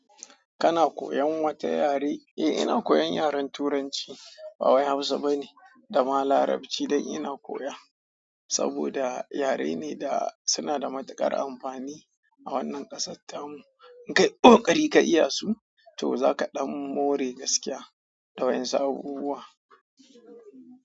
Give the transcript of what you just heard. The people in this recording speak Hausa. Kana koyan wata yare? Eh ina koyon yaren turanci ba wai hausa bane dama larabci dan ina koya. Saboda yare ne da suna da matuƙar amfani a wannan ƙasar tamu. Kai kokari ka iya su to zaka ɗan more gaskiya da wayansu abubbuwa.